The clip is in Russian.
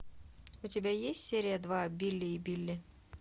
у тебя есть серия два билли и билли